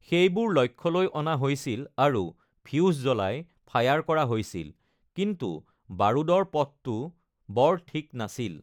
সেইবোৰ লক্ষ্যলৈ অনা হৈছিল আৰু ফিউজ জ্বলাই ফায়াৰ কৰা হৈছিল, কিন্তু বাৰুদৰ পথটো বৰ ঠিক নাছিল।